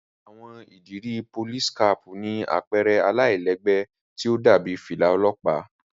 Àwọn ìdiri Polìsí-kàpu ni àpẹrẹ àlailẹgbẹ ti o dàbi filà ọlọpa.